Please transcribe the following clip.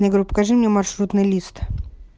я говорю покажи мне маршрутный лист